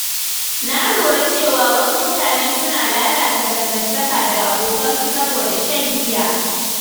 Na lura cewa wasu mutane suna lalata dangantaka da abokansu saboda shan giya.